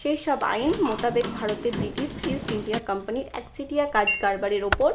সেই সব আইন মোতাবেক ভারতে ব্রিটিশ east india company র একচেটিয়া কাজ কারবারের ওপর